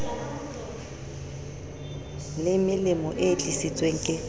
le melemo e tlisitsweng ke